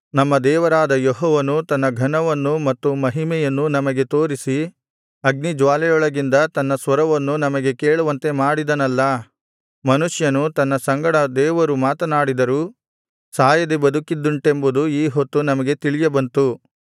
ನಮ್ಮ ದೇವರಾದ ಯೆಹೋವನು ತನ್ನ ಘನವನ್ನೂ ಮತ್ತು ಮಹಿಮೆಯನ್ನೂ ನಮಗೆ ತೋರಿಸಿ ಅಗ್ನಿಜ್ವಾಲೆಯೊಳಗಿಂದ ತನ್ನ ಸ್ವರವನ್ನು ನಮಗೆ ಕೇಳುವಂತೆ ಮಾಡಿದನಲ್ಲಾ ಮನುಷ್ಯನು ತನ್ನ ಸಂಗಡ ದೇವರು ಮಾತನಾಡಿದರೂ ಸಾಯದೆ ಬದುಕಿದ್ದುಂಟೆಂಬುದು ಈ ಹೊತ್ತು ನಮಗೆ ತಿಳಿಯಬಂತು